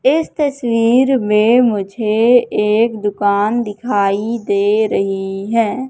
इस तस्वीर में मुझे एक दुकान दिखाई दे रही है।